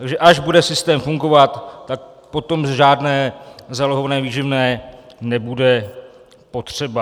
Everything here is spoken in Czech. Takže až bude systém fungovat, tak potom žádné zálohované výživné nebude potřeba.